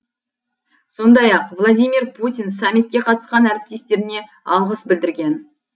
сондай ақ владимир путин саммитке қатысқан әріптестеріне алғыс білдірген